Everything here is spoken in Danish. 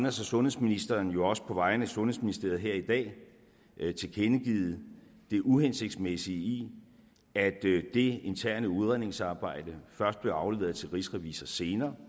og sundhedsministeren jo også på vegne af sundhedsministeriet her i dag tilkendegivet det uhensigtsmæssige i at det interne udredningsarbejde først blev afleveret til rigsrevisor senere